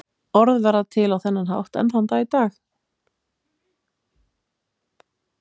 orð verða til á þennan hátt enn þann dag í dag